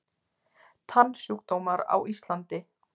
Tannsjúkdómar á Íslandi